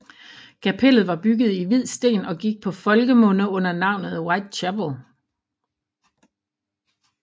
Kapellet var bygget i hvid sten og gik på folkemunde under navnet White Chapel